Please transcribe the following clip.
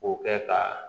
K'o kɛ ka